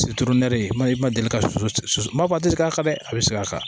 i ma deli ka su su su maa deli k'a kan dɛ a bɛ se k'a ka kan